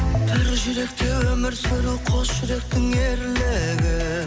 бір жүректе өмір сүру қос жүректің ерлігі